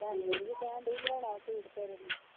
ਭੈਣ ਮੇਰੀ ਵੀ ਕਹਿਣ ਦੀ ਹੀ ਲਿਓਣਾ ਵਾ ਸੂਟ ਤੇਰੇ ਲਈ।